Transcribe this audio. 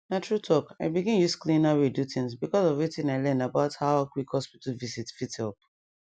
na true talk i begin use cleaner way do things because of wetin i learn about how quick hospital visit fit help